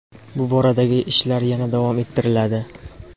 Bu boradagi ishlar yana davom ettiriladi.